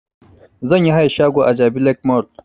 Zan yi hayan shago a jabi lake mall